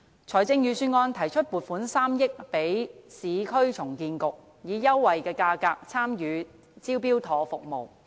財政預算案提出撥款3億元予市區重建局，以優惠價格參與"招標妥"服務。